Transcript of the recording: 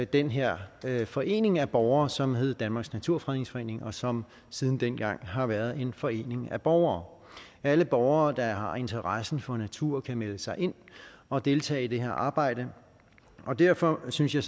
den her her forening af borgere som hed danmarks naturfredningsforening og som siden dengang har været en forening af borgere alle borgere der har interesse for natur kan melde sig ind og deltage i det her arbejde og derfor synes jeg